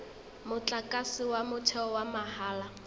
motlakase wa motheo wa mahala